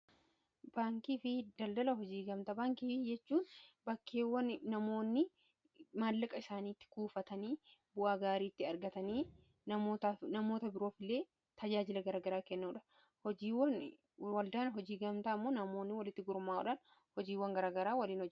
baankii fi daldala hojii gamtaa baankii fi jechuun bakkeewwan namoonni maallaqa isaaniitti kuufatanii bu'aa gaariitti argatanii namoota biroof illee tajaajila garagaraa kennuudha waldaan hojii gamtaa ammoo namoonni walitti gurmaa, uufha hojiiwwan garagaraa walin hojjetu